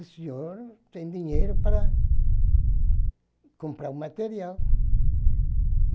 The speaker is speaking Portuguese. O senhor tem dinheiro para comprar o material.